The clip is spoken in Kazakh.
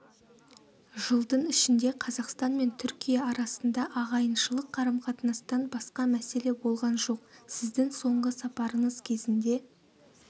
жылдың ішінде қазақстан мен түркия арасында ағайыншылық қарым-қатынастан басқа мәселе болған жоқ сіздің соңғы сапарыңыз кезінде